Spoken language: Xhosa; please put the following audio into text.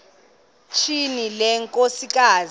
tyhini le nkosikazi